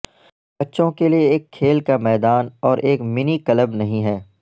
بچوں کے لئے ایک کھیل کا میدان اور ایک منی کلب نہیں ہے